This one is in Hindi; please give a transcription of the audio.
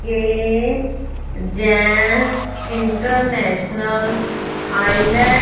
ये जेंट्स इंटरनेशनल --